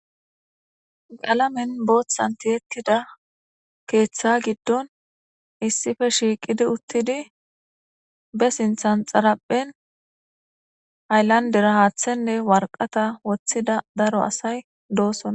Qalame bothan tietida ketha giidon issipe shiqidi utidi basinithan xariphen hayilanidera hathenee wariqata wothida daro asay do'sona